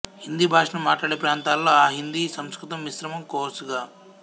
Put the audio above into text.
హిందీ భాషను మాట్లాడే ప్రాంతాలలో అ హిందీ సంస్కృతం మిశ్రమ కోర్సుగా